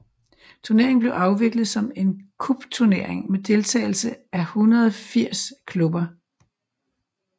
Turneringen blev afviklet som en cupturnering med deltagelse af 180 klubber